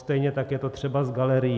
Stejně tak je to třeba s galerií.